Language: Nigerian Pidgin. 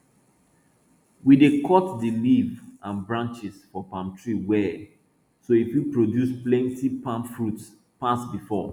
we dey cut di leaf an branches for palm tree well so e fit produce plenti palm fruits pass before